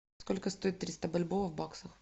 сколько стоит триста бальбоа в баксах